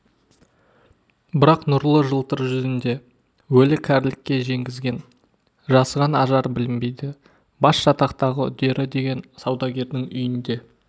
бірақ нұрлы жылтыр жүзінде өлі кәрілікке жеңгізген жасыған ажар білінбейді бас жатақтағы үдері деген саудагердің үйінде